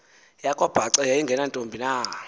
yakwabhaca yayingenantombi na